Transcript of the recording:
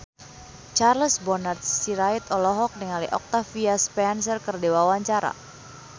Charles Bonar Sirait olohok ningali Octavia Spencer keur diwawancara